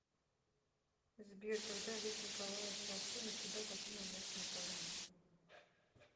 сбер когда лев николаевич толстой навсегда покинул ясную поляну